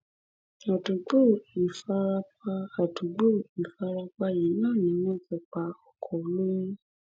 àdúgbò ìfarapa àdúgbò ìfarapa yìí náà ni wọn ti pa ọkọ olóyún